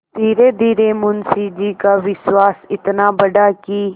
धीरेधीरे मुंशी जी का विश्वास इतना बढ़ा कि